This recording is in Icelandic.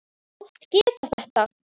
Hún kvaðst geta það.